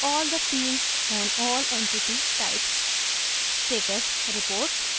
a listing of all the fields on all entity types